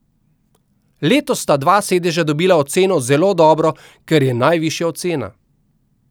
Letos sta dva sedeža dobila oceno zelo dobro, kar je najvišja ocena.